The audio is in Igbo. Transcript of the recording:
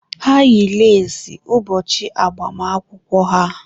Ha yi leesi ụbọchị agbamakwụkwọ ha.